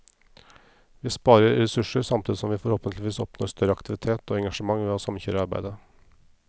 Vi sparer ressurser, samtidig som vi forhåpentligvis oppnår større aktivitet og engasjement ved å samkjøre arbeidet.